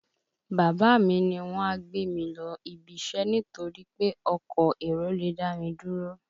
Bàbá mi ní wọ́n á gbé mi lọ ibiṣẹ́ nítorí pé ọkọ̀ èrò lè dá mi dúró